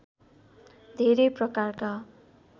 धेरै प्रकारका